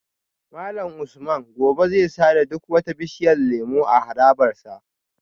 Malam Usman gobe zai sare duk wata bishiyar lemu a harabar sa